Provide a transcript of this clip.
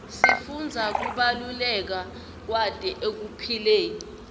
sifundza kubaluleka kwato ekuphileni